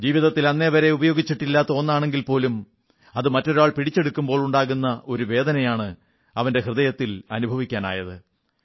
ജീവിതത്തിൽ അന്നുവരെ ഉപയോഗിച്ചിട്ടില്ലാത്ത ഒന്നാണെങ്കിൽ പോലും അത് മറ്റൊരാൾ പിടിച്ചെടുക്കുമ്പോൾ ഉണ്ടാകുന്ന ഒരു വേദനയാണ് അവന്റെ ഹൃദയത്തിൽ അനുഭവിക്കാനായത്